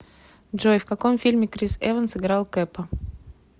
джой в каком фильме крис эванс играл кэпа